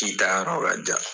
Ci ta yɔrɔ ka jan!